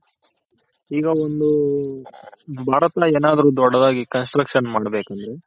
ಈಗ ಒಂದು ದೊಡ್ದಾಗಿ Construction ಮಾಡ್ ಬೇಕಂದ್ರೆ